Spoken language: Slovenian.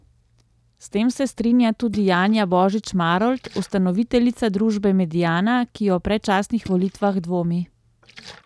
S tem se strinja tudi Janja Božič Marolt, ustanoviteljica družbe Mediana, ki o predčasnih volitvah dvomi.